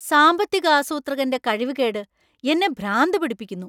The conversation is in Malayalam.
സാമ്പത്തിക ആസൂത്രകന്‍റെ കഴിവുകേട്‌ എന്നെ ഭ്രാന്തു പിടിപ്പിക്കുന്നു.